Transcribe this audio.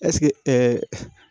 Ɛseke